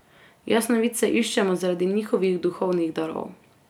Jasnovidce iščemo zaradi njihovih duhovnih darov.